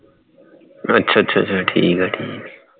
ਅੱਛਾ ਅੱਛਾ ਅੱਛਾ ਠੀਕ ਹੈ ਠੀਕ ਹੈ